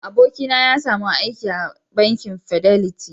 abokin na ya samu aiki a bankin " fidelity".